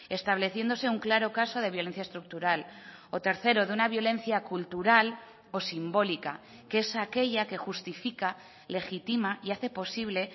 estableciéndose un claro caso de violencia estructural o tercero de una violencia cultural o simbólica que es aquella que justifica legitima y hace posible